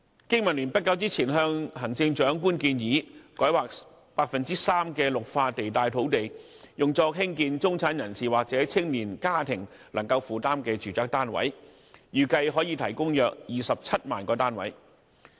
經民聯不久前向行政長官建議，改劃 3% 的綠化地帶土地，用作興建中產人士或青年家庭能夠負擔的住宅單位，預計可提供約27萬個單位。